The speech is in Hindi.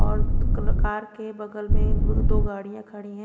और दो कल कार के बगल में दो गाड़िया खड़ी है।